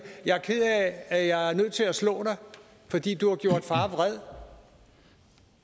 at at jeg er nødt til at slå dig fordi du har gjort far vred